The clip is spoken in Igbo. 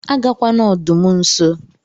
Agakwana ọdụm nso!!